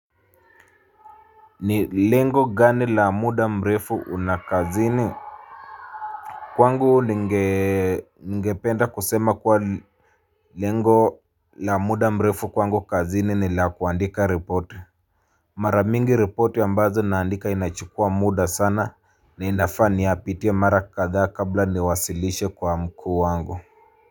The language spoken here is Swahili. Ni lengo gani la muda mrefu una kazini kwangu ningependa kusema kuwa lengo la muda mrefu kwangu kazini ni la kuandika report mara mingi report ambazo naandika inachukua muda sana na inafaa niyapitie mara kathaa kabla niwasilishe kwa mkuu wangu Muzika.